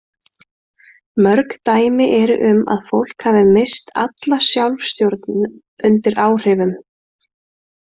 Mörg dæmi eru um að fólk hafi misst alla sjálfstjórn undir áhrifum.